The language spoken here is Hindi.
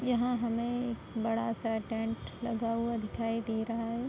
यहाँ हमें एक बड़ा सा टेंट लगा हुआ दिखाई दे रहा है।